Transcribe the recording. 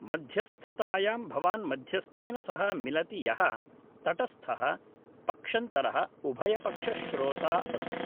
मध्यस्थतायां भवान् मध्यस्थेन सह मिलति यः तटस्थः पक्षन्तरः उभयपक्षश्रोता अस्ति